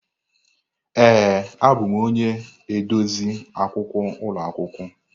Ee, abụm onye edozi akwụkwọ ụlọ akwụkwọ.